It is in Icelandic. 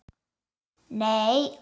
Nei, áður.